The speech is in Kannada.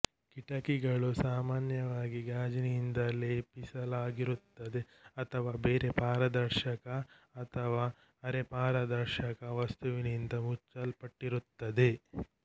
ಕಿಟಕಿಗಳು ಸಾಮಾನ್ಯವಾಗಿ ಗಾಜಿನಿಂದ ಲೇಪಿಸಲಾಗಿರುತ್ತವೆ ಅಥವಾ ಬೇರೆ ಪಾರದರ್ಶಕ ಅಥವಾ ಅರೆಪಾರದರ್ಶಕ ವಸ್ತುವಿನಿಂದ ಮುಚ್ಚಲ್ಪಟ್ಟಿರುತ್ತವೆ